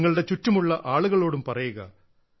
നിങ്ങളുടെ ചുറ്റുമുള്ള ആളുകളോടും പറയുക